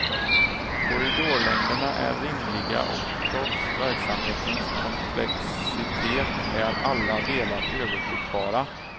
Korridorlängderna är rimliga och trots verksamhetens komplexitet är alla delar överblickbara.